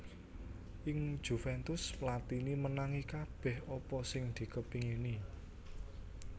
Ing Juventus Platini menangi kabèh apa sing dikepingini